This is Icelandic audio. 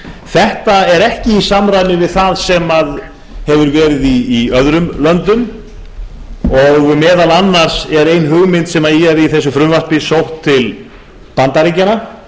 þetta er ekki í samræmi við það sem hefur verið í öðrum löndum og meðal annars er ein hugmynd sem er í þessu frumvarpi sótt til bandaríkjanna